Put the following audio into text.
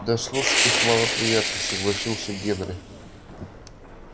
да слушать их малоприятно согласился генри